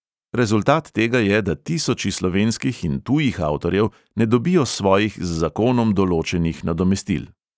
Rezultat tega je, da tisoči slovenskih in tujih avtorjev ne dobijo svojih z zakonom določenih nadomestil.